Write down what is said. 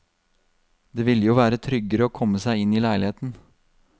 Det ville jo være tryggere å komme seg inn i leiligheten.